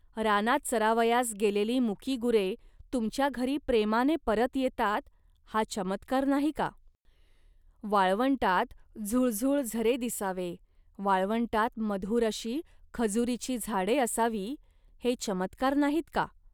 रानात चरावयास गेलेली मुकी गुरे तुमच्या घरी प्रेमाने परत येतात, हा चमत्कार नाही का. वाळवंटात झुळझुळ झरे दिसावे, वाळवंटात मधुर अशी खजुरीची झाडे असावी, हे चमत्कार नाहीत का